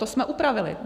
To jsme upravili.